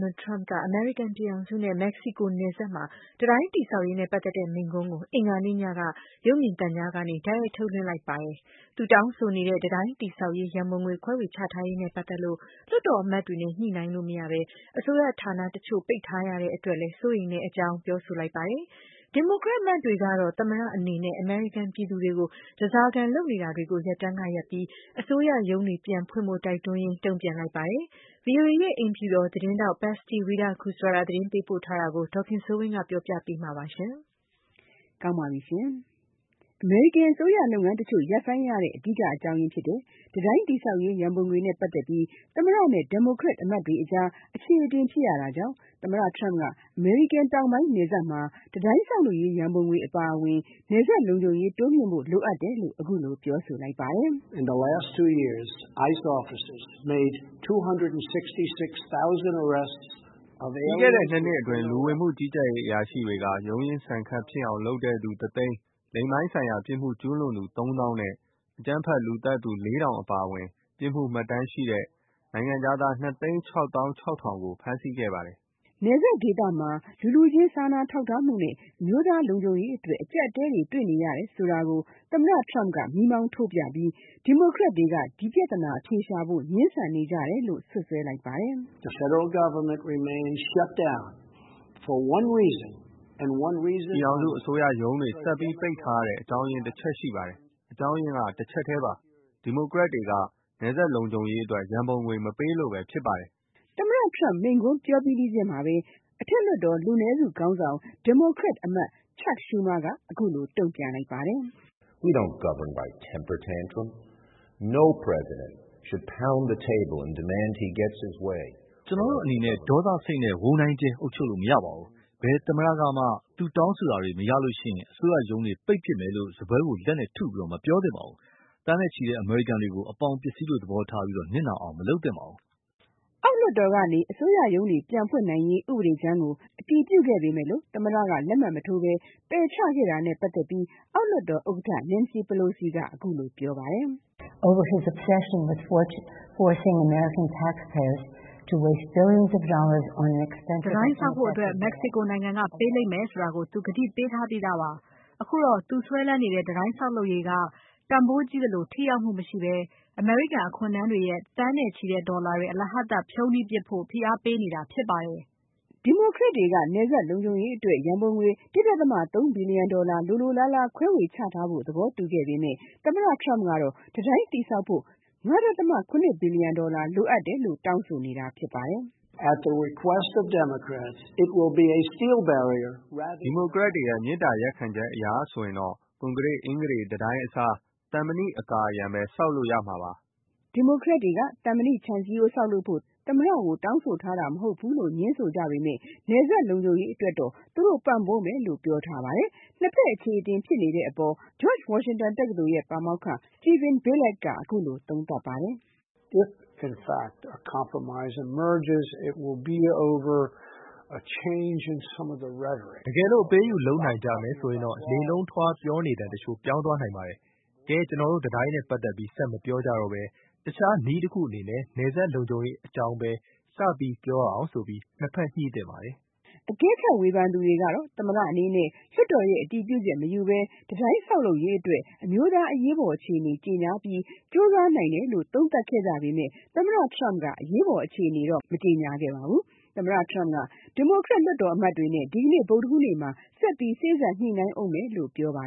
နယ်ထရမ့်က အမေရိကန်ပြည်ထောင်စုနဲ့ မက္ကစီကိုနယ်စပ်မှာ တံတိုင်း တည်ဆောက်ရေးနဲ့ ပတ်သက်တဲ့ မိန့်ခွန်းကို အင်္ဂါနေ့ညက ရုပ်မြင်သံကြားကနေ တိုက်ရိုက် ထုတ်လွှင့်လိုက်ပါတယ်။ သူ့တောင်းဆိုနေတဲ့ တံတိုင်းတည်ဆောက်ရေး ရန်ပုံငွေ ခွဲဝေချထားရေးနဲ့ ပတ်သက်လို့ လွှတ်တော်အမတ်တွေနဲ့ ညှိနှိုင်းလို့မရဘဲ အစိုးရဌာန တချို့ ပိတ်ထားရတဲ့အတွက်လည်း စိုးရိမ်တဲ့အကြောင်းလည်း ပြောဆို လိုက်ပါတယ်။ ဒီမိုကရက်အမတ်တွေကတော့ သမ္မတအနေနဲ့ အမေရိကန်ပြည်သူတွေကို ဓါးစာခံ လုပ်နေတာကို ရပ်တန်းကရပ်ပြီး၊ အစိုးရရုံးတွေပြန်ဖွင့်ဖို့တိုက်တွန်းရင်း တုံ့ပြန် လိုက်ပါတယ်။ VOA ရဲ့ အိမ်ဖြူတော်သတင်းထောက် Patsy Widakuswara သတင်းပေး ပို့ထားတာကို ဒေါ်ခင်စိုးဝင်းကပြောပြပေးမှာပါ။ အမေရိကန်အစိုးရလုပ်ငန်းတချို့ ရပ်ဆိုင်းရတဲ့ အဓိကအကြောင်းရင်းဖြစ်တဲ့ တံတိုင်း တည်ဆောက်ရေး ရန်ပုံငွေနဲ့ ပတ်သက်ပြီး သမ္မတနဲ့ ဒီမိုကရက်အမတ်တွေအကြား အခြေ အတင်ဖြစ်နေရတာကြောင့်၊ သမ္မတထရမ့်က အမေရိကန်တောင်ပိုင်းနယ်စပ်မှာ တံတိုင်းဆောက်လုပ်ရေးရန်ပုံငွေ အပါအဝင် နယ်စပ်လုံခြုံရေးတိုးမြှင့်ဖို့လိုအပ်တယ်လို့ ပြောဆိုလိုက်ပါတယ်။ “ ပြီးခဲ့တဲ့ ၂ နှစ်အတွင်း လူဝင်မှုကြီးကြပ်ရေးအရာရှိတွေက ရုန်းရင်း ဆန်ခတ်ဖြစ်အောင် လုပ်တဲ့သူ တ သိန်း၊ လိင်ပိုင်းဆိုင်ရာပြစ်မှုကျူးလွန်သူ သုံးသောင်း နဲ့ အကြမ်းဖက် လူသတ်သူ ၄၀၀၀ အပါအင်ပြစ်မှုမှတ်တမ်းရှိတဲ့ နိုင်ငံခြားသား ၂၆၆၀၀၀ ( ၂ သိန်း ၆ သောင်း ၆ ထောင်) ကို ဖမ်းဆီးခဲ့ပါတယ်။” နယ်စပ်ဒေသမှာ လူလူချင်းစာနာထောက်ထားမှုနဲ့ အမျိုးသားလုံခြုံရေးအတွက် အကြပ်အတည်းတွေ့နေရတယ်ဆိုတာကို သမ္မတထရမ့်က မီးမောင်းထိုးပြပြီး၊ ဒီမိုကရက်တွေက ဒီပြဿနာအဖြေရှာဖို့ ငြင်းဆန်နေကြတယ်လို့ စွပ်စွဲလိုက်ပါတယ်။ “ ပြည်ထောင်စုအစိုးရရုံးတွေ ဆက်ပြီးပိတ်ထားရတဲ့ အကြောင်းရင်းတချက်ရှိပါတယ်။ အကြောင်းရင်းက တချက်ထဲပါဘဲ။ ဒီမိုကရက်တွေက နယ်စပ်လုံခြုံရေးအတွက် ရန်ပုံငွေမပေးလို့ဘဲ ဖြစ်ပါတယ်။” သမ္မတထရမ့်မိန့်ခွန်းပြောပြီးပြီးချင်းမှာဘဲ အထက်လွှတ်တော်လူနည်းစု ဒီမိုကရက်ခေါင်းဆောင် Chuck Schumer က အခုလိုတုံ့ပြန် လိုက်ပါတယ်။ “ ကျနော်တို့အနေနဲ့ ဒေါသစိတ်နဲ့ ဝုန်းဒိုင်းကြဲ အုပ်ချုပ်လို့မရပါဘူး။ ဘယ်သမ္မတကမှ သူတောင်းဆိုတာတွေ မရရင် အစိုးရရုံးတွေ ပိတ်ပစ်မယ်လို့စားပွဲကိုလက်နဲ့ ထုပြီး မပြောသင့်ပါဘူး။ သန်းနဲ့ချီတဲ့ အမေရိကန်တွေကို အပေါင်ပစ္စည်းလိုသဘောထားပြီး နစ်နာအောင် မလုပ်သင့်ပါဘူး။” အောက်လွတ်တော်ကနေ အစိုးရရဲုးတွေပြန်ဖွင့်ရေး ဥပဒေကြမ်းကို အတည်ပြုခဲ့ပေမဲ့ သမ္မတက လက်မှတ်မထိုးဘဲ ပယ်ချထဲ့တာနဲ့ ပတ်သက်လို့ အောက်လွှတ်တော်ဥက္ကဋ္ဌ Nancy Pelosi က အခုလိုပြောပါတယ်။ “ တံတိုင်းဆောက်လုပ်ဖို့ မက္ကစီကိုနိုင်ငံကပေးလိမ့်မယ်ဆိုတာ သူကတိပေးထားပြီးသားပါ။ အခုတော့ သူစွဲလန်းနေတဲ့ တံတိုင်းဆောက်လုပ်ရေးဟာ တန်ဖိုးကြီးသလို၊ ထိရောက်မှုမရှိဘဲ၊ အမေရိကန်အခွန်ထမ်းတွေရဲ့ သန်းထောင်နဲ့ချီတဲ့ဒေါ်လာတွေ အလဟဿဖြုန်းတီးပစ်ဖို့ ဖိအားပေးနေတာဖြစ်ပါတယ်။” ဒီမိုကရက်တွေက နယ်စပ်လုံခြုံရေးအတွက် ရန်ပုံငွေ ၁.၃ ဘီလီယံဒေါ်လာ လိုလိုလားလား ခွဲဝေချထားဖို့ သဘောတူပေမဲ့၊ သမ္မတထရမ့်ကတော့ တံတိုင်းတည်ဆောက်ဖို့ ၅.၇ ဘီလီယံဒေါ်လာလိုတယ်လို့ တောင်းဆိုနေတာဖြစ်ပါတယ်။ “ ဒီမိုကရက်တွေရဲ့ မေတ္တာရပ်ခံချက်အရဆိုရင်တော့ ကွန်ကရစ် အင်္ဂတေတံတိုင်းအစား သံမဏိအကာအရံ (ခြံစည်းရိုး) ဘဲ ဆောက်လို့ရမှာပေါ့ဗျာ။” ဒီမိုကရက်တွေက သံမဏိခြံစည်းရိုးဆောက်ဖို့ သမ္မတကို မတောင်းဆိုထားပေမဲ့ နယ်စပ်လုံခြုံရေးအတွက်တော့ သူတို့ ပံ့ပိုးမယ်လို့ပြောပါတယ်။ နှစ်ဘက်အခြေအတင်ဖြစ်နေတဲ့အပေါ် George Washington တက္ကသိုလ်ပါမောက္ခ Steven Billet က အခုလိုသုံးသပ်ပါတယ်။ “ တကယ်လို့ အပေးအယူ လုပ်နိုင်ကြမယ်ဆိုရင်တော့ လေလုံးထွားပြောနေသံ တချို့ပြောင်းသွားနိုင်ပါတယ်။ ကဲ..ကျနော်တို့ တံတိုင်းနဲ့ ပတ်သက်ပြီး ဆက်မပြောကြတော့ဘဲ၊ တခြားနည်းတခုအနေနဲ့ နယ်စပ်လုံခြုံရေးအကြောင်းဘဲ စပြီးပြောကြရအောင်ဆိုပြီး နှစ်ဘက်ညှိသင့်ပါတယ်။” အကဲခတ်ဝေဖန်သူတွေက သမ္မတအနေနဲ့ လွှတ်တော်ရဲ့ အတည်ပြုချက်မယူဘဲ တံတိုင်းဆောက်လုပ်ရေး အတွက် အမျိုးသားအရေးပေါ်အခြေအနေကြေညာပြီး ကြိုးစားနိုင်တယ်လို့ သုံးသပ်ကြပေမဲ့ သမ္မတထရမ့်က အရေးပေါ်အခြေအနေတော့ မကြေညာပါဘူး။ သမ္မတထရမ့်က ဒီမိုကရက်လွှတ်တော်အမတ်တွေနဲ့ ဒီနေ့ ဗုဒ္ဒဟူးနေ့မှာ ဆက်ပြီး စေ့စပ်ဆွေးနွေးဦးမယ်လို့ပြောပါ